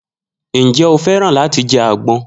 Njẹ o fẹ́ràn láti jẹ àgbọn?